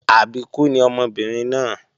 Àbíkú ni ọmọbìnrin náà